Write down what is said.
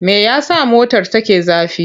Me ya sa motar take zafi?